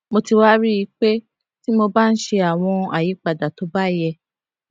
mo ti wá rí i pé tí mo bá ń ṣe àwọn àyípadà tó bá yẹ